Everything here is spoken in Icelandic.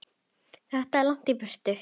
Þetta er langt í burtu.